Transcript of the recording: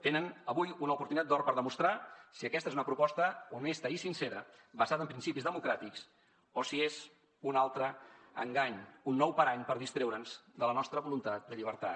tenen avui una oportunitat d’or per demostrar si aquesta és una proposta honesta i sincera basada en principis democràtics o si és un altre engany un nou parany per distreure’ns de la nostra voluntat de llibertat